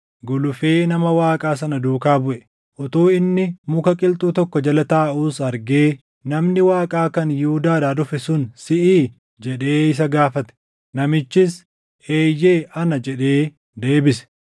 gulufee nama Waaqaa sana duukaa buʼe. Utuu inni muka qilxuu tokko jala taaʼuus argee, “Namni Waaqaa kan Yihuudaadhaa dhufe sun siʼii?” jedhee isa gaafate. Namichis, “Eeyyee ana” jedhee deebise.